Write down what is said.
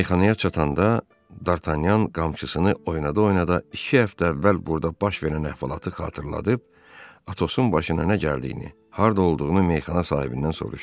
Meyxanaya çatanda Dartanyan qamçısını oynada-oynada iki həftə əvvəl burda baş verən əhvalatı xatırlayıb Atosun başına nə gəldiyini, harda olduğunu meyxana sahibindən soruşdu.